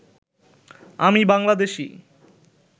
আমি বাংলাদেশী